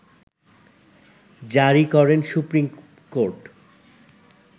জারি করেন supreme court